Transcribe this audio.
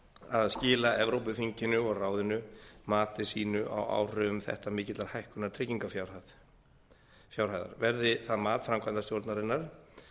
að skila evrópuþinginu og ráðinu mati sínu á áhrifum þetta mikillar hækkunar tryggingarfjárhæðar verði það mat framkvæmdastjórnarinnar